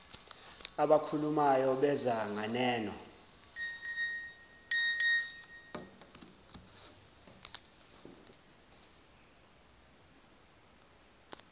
abakhulumayo beza nganeno